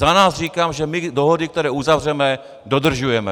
Za nás říkám, že my dohody, které uzavřeme, dodržujeme.